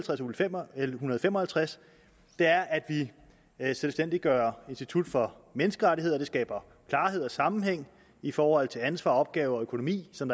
l en hundrede og fem og halvtreds er at vi selvstændiggør institut for menneskerettigheder det skaber klarhed og sammenhæng i forhold til ansvar opgaver og økonomi som